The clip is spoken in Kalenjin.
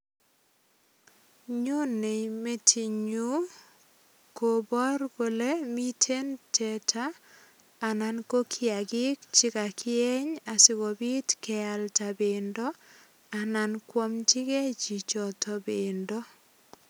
Nyonei metinyu kobor kole miten teta anan kiagik che kagieny sigopit kealda bendo anan koamchigei chichoto bendo.